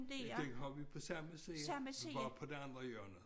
Den har vi på samme siden bare på det andet hjørne